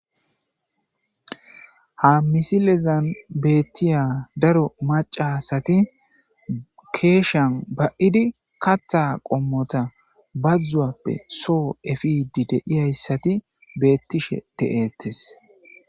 Ha missile bollan bethiya daro maca assathi keshiyan ba'idi katha qomotha bazuwape so epidi de'ysathi bethishe de'thess.